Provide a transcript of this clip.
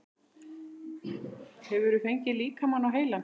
Hefurðu fengið líkamann á heilann?